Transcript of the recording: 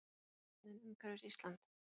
Hafsbotninn umhverfis Ísland.